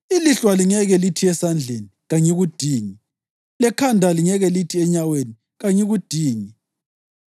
Ilihlo alingeke lithi esandleni, “Kangikudingi!” Lekhanda alingeke lithi enyaweni, “Kangikudingi!”